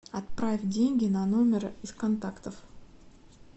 отправь деньги на номер из контактов